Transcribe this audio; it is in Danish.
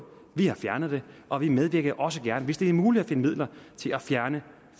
vi har fjernet det og vi medvirker også gerne hvis det er muligt at finde midler til at fjerne